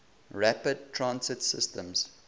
rapid transit systems